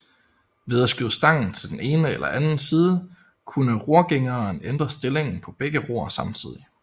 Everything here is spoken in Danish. Ved at skyde stangen til den ene eller anden side kunne rorgængeren ændre stillingen på begge ror samtidig